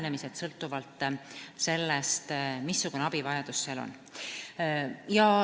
Kõik sõltub sellest, missugune abivajadus kusagil on.